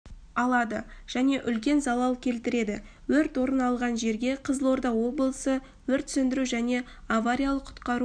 алады және үлкен залал келтіреді өрт орын алған жерге қызылорда облысы өрт сөндіру және авариялық-құтқару